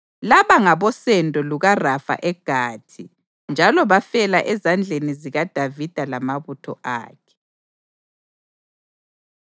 Laba ngabosendo lukaRafa eGathi, njalo bafela ezandleni zikaDavida lamabutho akhe.